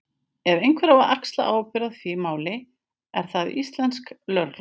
Ef einhver á að axla ábyrgð í því máli er það íslenska lögreglan.